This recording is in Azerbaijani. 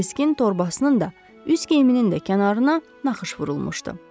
Kiriskin torbasının da, üz geyiminin də kənarına naxış vurulmuşdu.